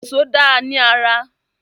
Èṣó dáa ní ara.